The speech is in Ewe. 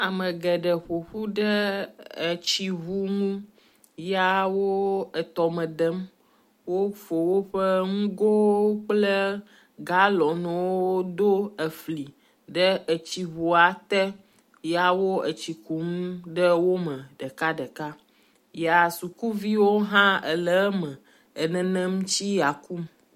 Ame geɖe ƒoƒuɖe etsi ŋu nu ya wo etɔme dem. Wofɔ woƒe nugowo kple galɔnwo ɖo efli ɖe etsiŋua te ya wo etsi kum ɖe wo me ɖekaɖeka ya sukuviwo hã le eme e nenem tsi ya kum.